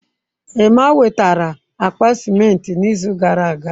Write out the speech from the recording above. Emma wetara akpa ciment n'izu gara aga.